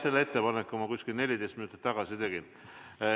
Selle ettepaneku ma umbes 14 minutit tagasi tegin.